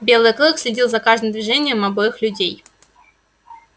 белый клык следил за каждым движением обоих людей